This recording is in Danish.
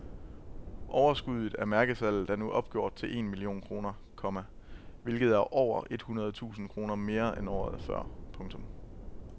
Overskuddet af mærkesalget er nu opgjort til en million kroner, komma hvilket er over et hundrede tusind kroner mere end året før. punktum